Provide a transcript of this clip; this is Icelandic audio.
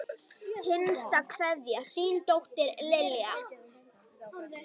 Hinsta kveðja, þín dóttir, Lilja.